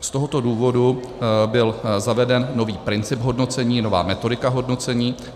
Z tohoto důvodu byl zaveden nový princip hodnocení, nová metodika hodnocení.